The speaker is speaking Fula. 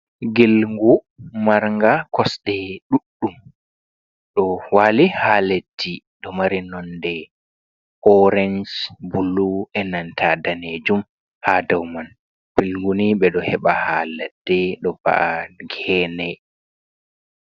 Ngilngu marnga kosɗe ɗuɗɗum. Ɗo waali haa leddi ɗo mari nonde orenj, blu e nanta danejum ha dou man. Ngilngu ni ɓe ɗo heba haa laɗɗe, ɗo baa gene.